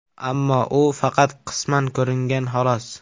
Ammo u faqat qisman ko‘ringan, xolos.